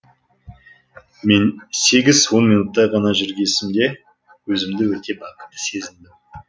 мен сегіз он минуттай ғана жүргезсемде өзімді өте бақытты сезіндім